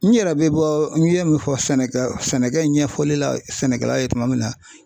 N yɛrɛ bɛ bɔ n ye min fɔ sɛnɛkɛ sɛnɛkɛ ɲɛfɔli la sɛnɛkɛla ye tuma min na